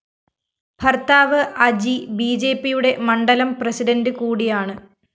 ഭര്‍ത്താവ് അജി ബിജെപിയുടെ മണ്ഡലം പ്രസിഡന്റ് കൂടിയാണ്